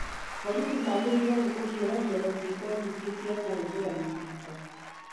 borithi magĩrĩirũo nĩ kũhiũrania na ciiko nyingĩ cia kũhũthĩra mĩcinga.